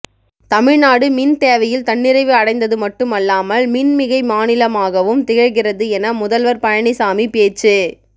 தமிழ்நாடு மின் தேவையில் தன்னிறைவு அடைந்தது மட்டுமல்லாமல் மின்மிகை மாநிலமாகவும் திகழ்கிறது என முதல்வர் பழனிசாமி பேச்சு